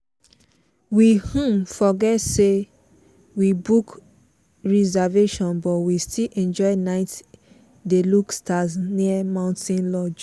we um forget say we book reservation but we still enjoy night dey look stars near mountain lodge.